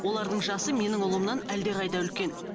олардың жасы менің ұлымнан әлдеқайда үлкен